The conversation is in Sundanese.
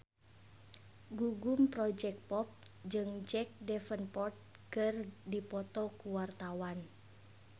Gugum Project Pop jeung Jack Davenport keur dipoto ku wartawan